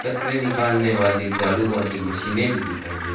कचरे निकालने वाली झाडू वाली मशीनें भी दिखाई दे--